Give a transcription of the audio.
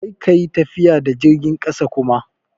Kar ka yi tafiya da jirgin ƙasa kuma!